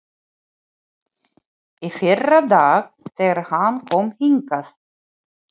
Í fyrradag, þegar hann kom hingað.